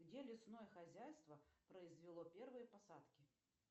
где лесное хозяйство произвело первые посадки